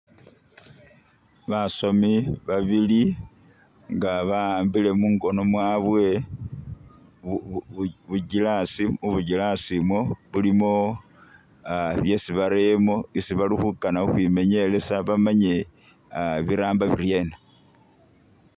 Basomi babili nga ba'ambile mungono mwabwe bu glass, mu buglass imwo mulimo byesi bareyemo isi bali khukana ukhwi menielesa bamanye aa biramba biryena.